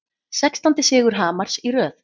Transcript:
Sextándi sigur Hamars í röð